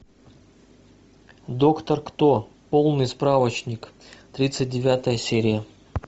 доктор кто полный справочник тридцать девятая серия